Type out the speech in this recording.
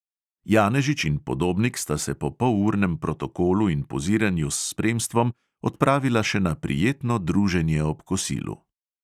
Janežič in podobnik sta se po polurnem protokolu in poziranju s spremstvom odpravila še na prijetno druženje ob kosilu.